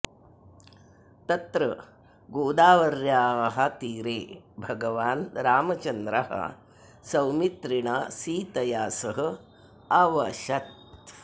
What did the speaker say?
तत्र गोदावर्याः तीरे भगवान् रामचन्द्रः सौमित्रिणा सीतया सह अवशत्